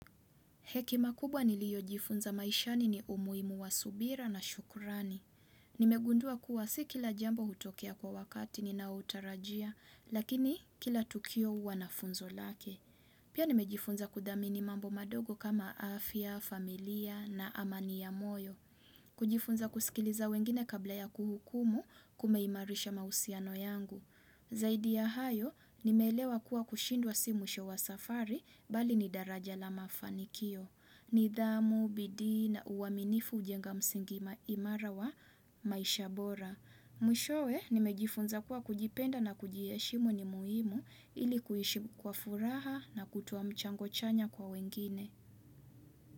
Hekimamkubwa nilio jifunza maishani ni umuhimu wa subira na shukurani. Nimegundua kuwa si kila jambo hutokea kwa wakati ninao utarajia, lakini kila tukio huwa na funzo lake. Pia nimejifunza kudhamini mambo madogo kama afya, familia na amani ya moyo. Kujifunza kusikiliza wengine kabla ya kuhukumu kumeimarisha mahusiano yangu. Zaidi ya hayo, nimeelewa kuwa kushindwa si mwisho wa safari bali ni daraja la mafanikio. Nidhamu, bidii na, uaminifu hujenga msingi ima imara wa maisha bora Mwishowe nimejifunza kuwa kujipenda na kujiheshimu ni muhimu ilikuishi kwa furaha na kutoa mchango chanya kwa wengine.